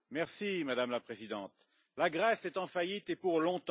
Madame la Présidente, la Grèce est en faillite et pour longtemps.